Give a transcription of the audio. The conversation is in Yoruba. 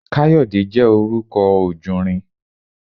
Káyọ̀dé jẹ́ orúkọ ojùnrin